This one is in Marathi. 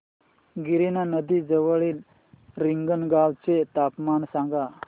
गिरणा नदी जवळील रिंगणगावाचे तापमान सांगा